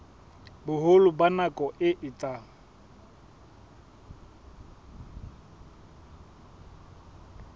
boholo ba nako e etsang